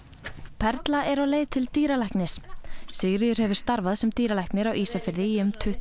perla er á leið til dýralæknis Sigríður hefur starfað sem dýralæknir á Ísafirði í um tuttugu